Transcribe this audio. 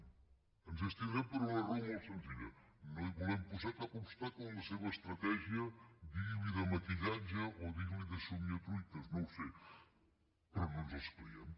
i ens hi abstindrem per una raó molt senzilla no volem posar cap obstacle en la seva estratègia digui li de maquillatge o digui li de somniar truites no ho sé però no ens les creiem